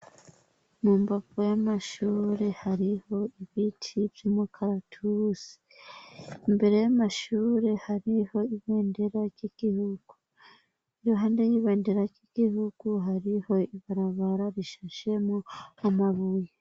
Mumbavu y'amashure hariho ibiti vy'imikaratusi, imbere y'amashure hariho ibendera ry'igihugu, iruhande y'ibendera ry'igihugu hariho ibarabara rishashemwo umabuye.